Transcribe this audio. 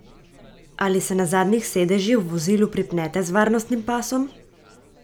Ali se na zadnjih sedežih v vozilu pripnete z varnostnim pasom?